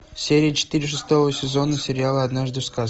серия четыре шестого сезона сериала однажды в сказке